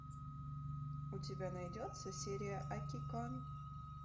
у тебя найдется сериал акикан